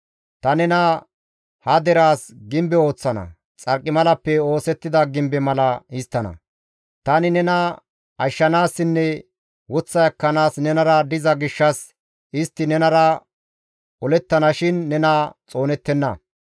Ta nena ha deraas gimbe ooththana; xarqimalappe oosettida gimbe mala histtana; tani nena ashshanaassinne woththa ekkanaas nenara diza gishshas istti nenara olettana shin nena xoonettenna.